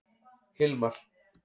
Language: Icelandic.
Hilmar